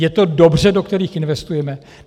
Je to dobře, do kterých investujeme?